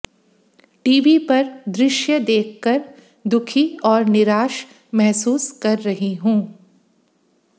TV पर दृश्य देखकर दुखी और निराश महसूस कर रही हूं